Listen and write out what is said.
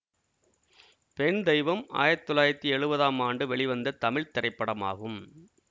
பெண் தெய்வம் ஆயிரத்தி தொள்ளாயிரத்தி எழுவதாம் ஆண்டு வெளிவந்த தமிழ் திரைப்படமாகும்